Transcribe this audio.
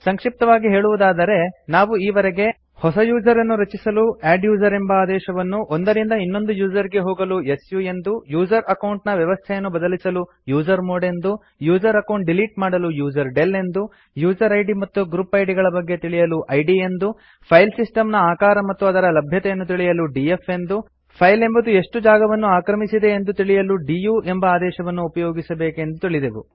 ಸಂಕ್ಷಿಪ್ತವಾಗಿ ಹೇಳುವುದಾದರೆ ನಾವು ಈವರೆಗೆ ಹೊಸ ಯೂಸರ್ ಅನ್ನು ರಚಿಸಲು ಅಡ್ಡುಸರ್ ಎಂಬ ಆದೇಶವನ್ನು ಒಂದರಿಂದ ಇನ್ನೊಂದು ಯೂಸರ್ ಗೆ ಹೋಗಲು ಸು ಎಂದು ಯೂಸರ್ ಅಕೌಂಟ್ ನ ವ್ಯವಸ್ಥೆಯನ್ನು ಬದಲಿಸಲು ಯುಸರ್ಮಾಡ್ ಎಂದು ಯೂಸರ್ ಅಕೌಂಟ್ ಡಿಲೀಟ್ ಮಾಡಲು ಯುಸರ್ಡೆಲ್ ಎಂದು ಯೂಸರ್ ಐಡಿ ಮತ್ತು ಗ್ರುಪ್ ಐಡಿ ಗಳ ಬಗ್ಗೆ ತಿಳಿಯಲು ಇದ್ ಎಂದು ಫೈಲ್ ಸಿಸ್ಟಮ್ ನ ಆಕಾರ ಮತ್ತು ಅದರ ಲಭ್ಯತೆಯನ್ನು ತಿಳಿಯಲು ಡಿಎಫ್ ಎಂದು ಫೈಲ್ ಎಂಬುದು ಎಷ್ಟು ಜಾಗವನ್ನು ಆಕ್ರಮಿಸಿದೆ ಎಂದು ತಿಳಿಯಲು ಡಿಯು ಎಂಬ ಆದೇಶವನ್ನು ಉಪಯೋಗಿಸಬೇಕೆಂದು ತಿಳಿದೆವು